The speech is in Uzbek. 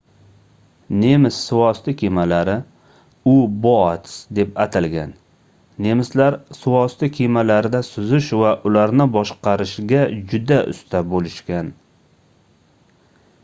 nemis suvosti kemalari u-boats deb atalgan nemislar suvosti kemalarida suzish va ularni boshqarishga juda usta boʻlishgan